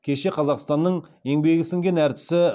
кешке қазақстанның еңбегі сіңген әртісі